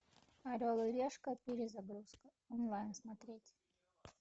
орел и решка перезагрузка онлайн смотреть